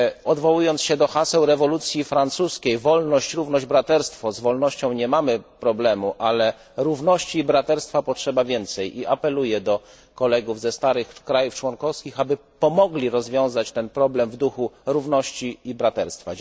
Odwołując się do haseł rewolucji francuskiej Wolność, równość, braterstwo z wolnością nie mamy problemu, ale równości i braterstwa potrzeba więcej i apeluję do kolegów ze starych krajów członkowskich, aby pomogli rozwiązać ten problem w duchu równości i braterstwa.